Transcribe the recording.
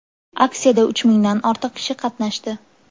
Aksiyada uch mingdan ortiq kishi qatnashdi.